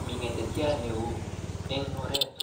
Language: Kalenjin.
Mi ngetetyat neo eng oret